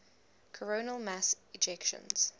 coronal mass ejections